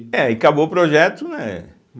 É, e acabou o projeto, né?